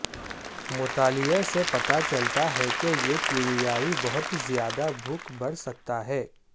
مطالعہ سے پتہ چلتا ہے کہ یہ کیمیائی بہت زیادہ بھوک بڑھ سکتا ہے